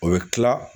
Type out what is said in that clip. O bɛ kila